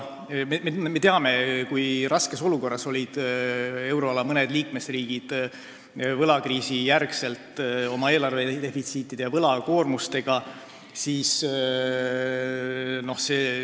Me teame, kui raskes olukorras olid mõned euroala riigid pärast võlakriisi oma eelarvedefitsiidi ja võlakoormuse tõttu.